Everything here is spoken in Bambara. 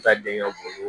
Ka den ka bolo